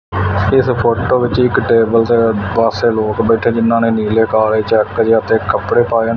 ਇਸ ਫੋਟੋ ਵਿੱਚ ਇੱਕ ਟੇਬਲ ਤੇ ਪਾਸੇ ਲੋਕ ਬੈਠੇ ਜਿਨਾਂ ਨੇ ਨੀਲੇ ਕਾਲੇ ਚੈੱਕ ਤੇ ਕੱਪੜੇ ਪਾਏ ਨੇ।